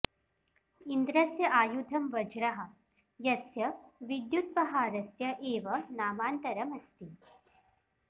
इन्द्रस्य आयुधं वज्रः यस्य विद्युत्पहारस्य एव नामान्तरम् अस्ति